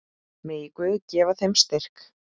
Megi Guð gefa þeim styrk.